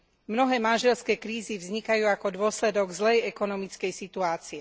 Mnohé manželské krízy vznikajú ako dôsledok zlej ekonomickej situácie.